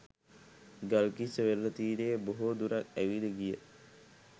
ගල්කිස්ස වෙරළ තීරයේ බොහෝ දුරක් ඇවිද ගිය